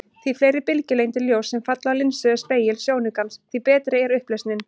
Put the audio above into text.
Því fleiri bylgjulengdir ljóss sem falla á linsu eða spegil sjónaukans, því betri er upplausnin.